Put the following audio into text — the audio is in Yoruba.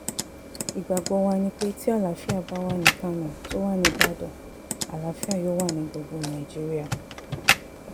ìgbàgbọ́ wa ni pé tí àlàáfíà bá wà ní kánò tó wà níbàdàn àlàáfíà yóò wà ní gbogbo nàìjíríà